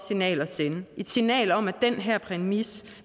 signal at sende et signal om at den her præmis